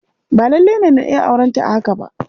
Ba lalle ne na iya aurenta a haka.